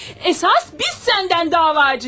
Əsas biz səndən davacıyıq.